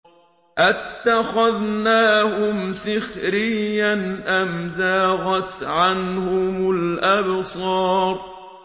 أَتَّخَذْنَاهُمْ سِخْرِيًّا أَمْ زَاغَتْ عَنْهُمُ الْأَبْصَارُ